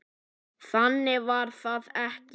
Þannig var það ekki.